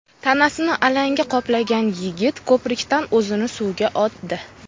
Tanasini alanga qoplagan yigit ko‘prikdan o‘zini suvga otdi.